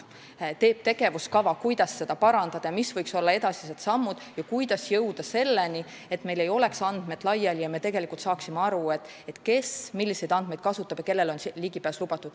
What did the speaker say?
Ta teeb tegevuskava, kuidas seda parandada ja mis võiks olla edasised sammud ning kuidas jõuda selleni, et need andmed ei oleks laiali ja me saaksime aru, kes milliseid andmeid kasutab ja kellele on ligipääs lubatud.